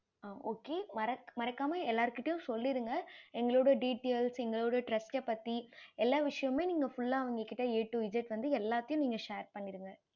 okay மறக்காம எல்லார் கிட்டையும் சொல்லிருங்க எங்களோட details எங்களோட trast பத்தி எல்லா விஷயமுமே நீங்க full அவங்க கிட்ட A to Z எல்லாத்தையும் நீங்க share பண்ணிடுங்க